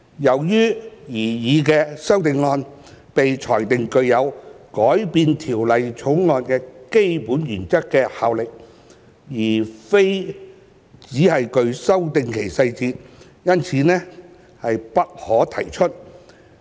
由於該擬議修正案被裁定具有改變《條例草案》的基本原則的效力，而非只是修訂其細節，因此不可提出。